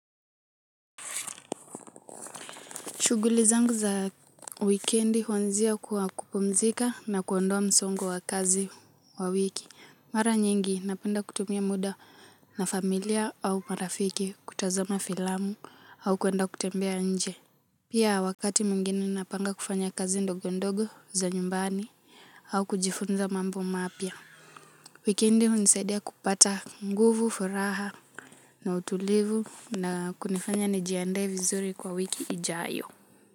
Shuguli zangu za wikendi huanzia kwa kupumzika na kuondoa msongu wa kazi wa wiki. Mara nyingi napenda kutumia muda na familia au marafiki kutazama filamu au kuenda kutembea nje. Pia wakati mwingine napanga kufanya kazi ndogo ndogo za nyumbani au kujifunza mambo mapia. Wikendi hunisaidia kupata nguvu, furaha na utulivu na kunifanya njiandae vizuri kwa wiki ijayo.